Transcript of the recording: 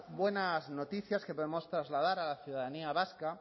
buenas noticias que podemos trasladar a la ciudadanía vasca